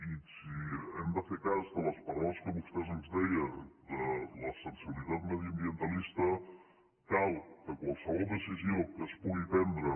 i si hem de fer cas de les paraules que vostè ens deia de la sensibilitat mediambientalista cal que qualsevol decisió que es pugi prendre